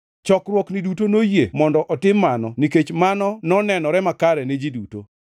Chokruokni duto noyie mondo otim mano nikech mano nonenore makare ni ji duto.